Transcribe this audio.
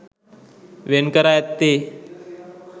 වෙන්කර ඇත්තේ